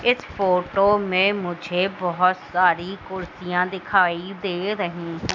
इस फोटो में मुझे बहोत सारी कुर्सियां दिखाई दे रही हैं।